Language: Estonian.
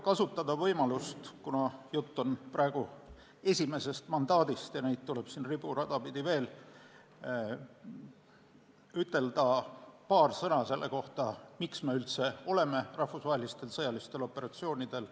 Kuna praegu on juttu esimesest mandaadist ja neid tuleb siin riburada pidi veel, lubage mul kasutada võimalust öelda paar sõna selle kohta, miks me üldse oleme rahvusvahelistel sõjalistel operatsioonidel.